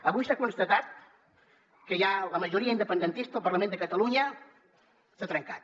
avui s’ha constatat que ja la majoria independentista al parlament de catalunya s’ha trencat